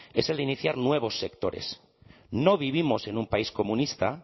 es el de iniciar nuevos sectores no vivimos en un país comunista